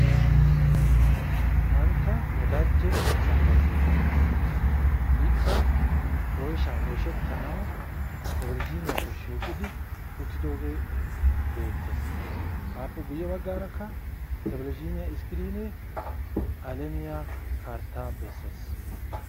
Mantta wodaajje asefa geetettees. ikka oyshaa oyshettanawu televizhiiniyaakko shiiqqidi uttidoogee beetees. appe guye bagaarakka televizhiiniya iskiriine alamiya karttaa besees.